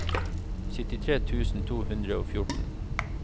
syttitre tusen to hundre og fjorten